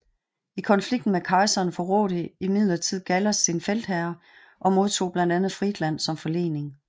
I konflikten med kejseren forrådte imidlertid Gallas sin feltherre og modtog blandt andet Friedland som forlening